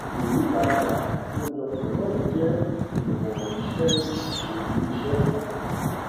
ìyípadà àkójọpọ náà jẹ ìwọn iṣẹ ìṣiṣẹ iléiṣẹ kan